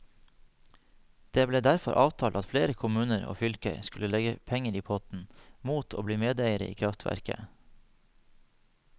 Det ble derfor avtalt at flere kommuner og fylker skulle legge penger i potten, mot å bli medeiere i kraftverket.